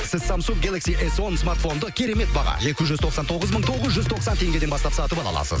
сіз самсунг гелакси эс он смартфонды керемет баға екі жүз тоқсан тоғыз мың тоғыз жүз тоқсан теңгеден бастап сатып ала аласыз